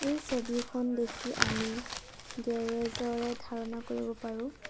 এই ছবিখন দেখি আমি গেৰেজ ৰে ধাৰণা কৰিব পাৰোঁ।